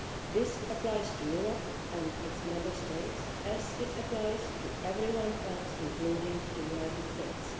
This applies to Europe and its Member States as it applies to everyone else, including the United States.